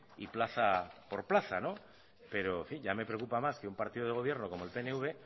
y plaza por plaza pero ya me preocupa más que un partido de gobierno como el pnv